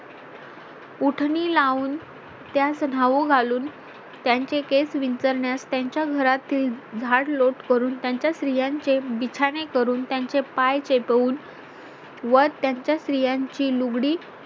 उटणीं लावून त्यास धाऊ घालून त्यांचे केस विंचरण्यास त्यांच्या घरातील झाडलोट करून त्यांच्या स्त्रियांचे बिछाने करून त्यांचे पाय चेपवून व त्यांच्या स्त्रियांची लुगडी